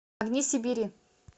огни сибири